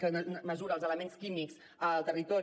que mesura els elements químics al territori